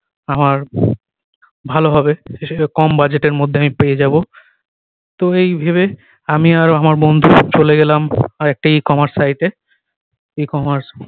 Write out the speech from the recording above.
আমার ভালো হবে সেসে কম budget এর মধ্যে আমি পেয়ে যাবো তো এই ভেবে আমি আর আমার বন্ধু চলে গেলাম আরেকটি e-commerce site এ e-commerce